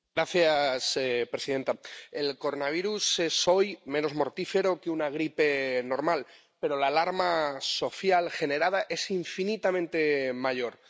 Señora presidenta, el coronavirus es hoy menos mortífero que una gripe normal, pero la alarma social generada es infinitamente mayor.